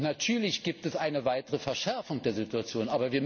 Natürlich gibt es eine weitere Verschärfung der Situation.